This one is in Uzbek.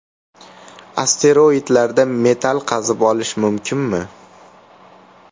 Asteroidlarda metall qazib olish mumkinmi?.